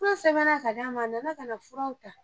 Fura sɛbɛnna ka d'a ma , a nana ka na furaw ta.